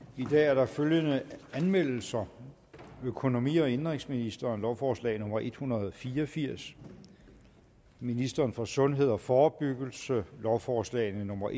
i dag er der følgende anmeldelser økonomi og indenrigsministeren lovforslag nummer l en hundrede og fire og firs ministeren for sundhed og forebyggelse lovforslag nummer